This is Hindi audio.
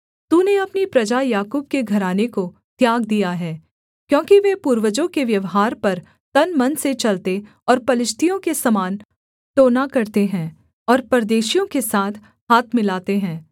तूने अपनी प्रजा याकूब के घराने को त्याग दिया है क्योंकि वे पूर्वजों के व्यवहार पर तन मन से चलते और पलिश्तियों के समान टोना करते हैं और परदेशियों के साथ हाथ मिलाते हैं